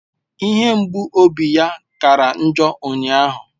Ihe mgbu obi ya kara njọ ụnyahụ